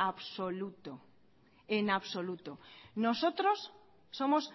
absoluto en absoluto nosotros somos